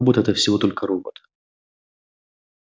робот-это всего только робот